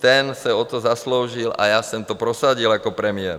Ten se o to zasloužil a já jsem to prosadil jako premiér.